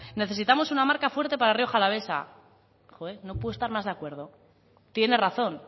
necesitamos una marca fuerte para rioja alavesa joe no puedo estar más de acuerdo tiene razón